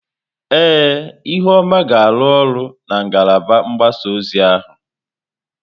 Ee, ihuoma ga-arụ ọrụ na ngalaba mgbasa ozi ọha.